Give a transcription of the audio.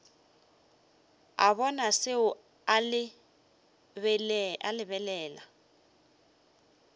a bona seo a lebelela